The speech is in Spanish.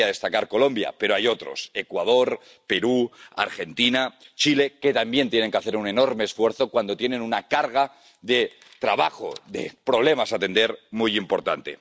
Querría destacar Colombia, pero hay otros, Ecuador, Perú, Argentina, Chile, que también tienen que hacer un enorme esfuerzo, cuando tienen una carga de trabajo, de problemas que atender muy importante.